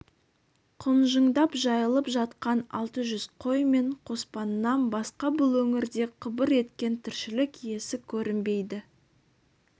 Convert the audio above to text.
құнжыңдап жайылып жатқан алты жүз қой мен қоспаннан басқа бұл өңірде қыбыр еткен тіршілік иесі көрінбейді